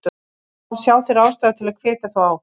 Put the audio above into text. Þá sjá þeir ástæðu að hvetja þá áfram.